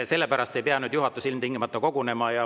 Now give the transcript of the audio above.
Selle pärast ei pea juhatus ilmtingimata kogunema.